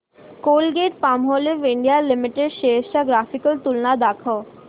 Colgate Palmolive India limited shares ची graphical तुलना दाखव